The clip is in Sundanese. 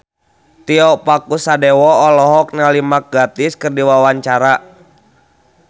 Tio Pakusadewo olohok ningali Mark Gatiss keur diwawancara